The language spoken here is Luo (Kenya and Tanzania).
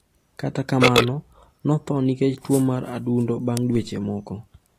Kata kamano, notho nikech tuwo mar adundo bang’ dweche moko.